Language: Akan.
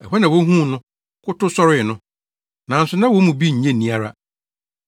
Ɛhɔ na wohuu no, kotow, sɔree no. Nanso na wɔn mu bi nnye nni ara.